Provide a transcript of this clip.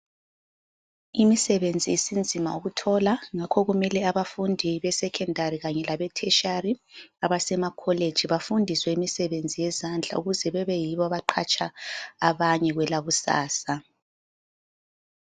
Imisebenzi isinzima ukuthola ngakho kumele abafundi be Secondary kanye labe tertiary abasemakholeji befundiswe imisebenzi yezandla ukuze kube yibo abaqhatsha abanye kwelakusasa.